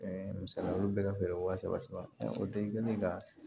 Ɛɛ misali la olu bɛ ka feere wa saba saba o de kɛlen ka